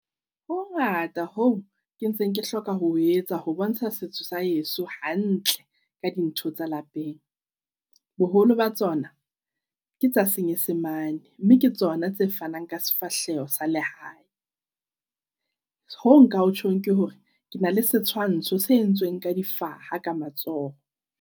Ho hongata hoo ke ntseng ke hloka ho o etsa ho bontsha setso sa heso hantle ka dintho tsa lapeng. Boholo ba tsona ke tsa senyesemane mme ke tsona tse fanang ka sefahleho sa lehae. Hoo nka o tjhong ke ho re, kena le setshwantsho se entsweng ka difaha ka matsoho.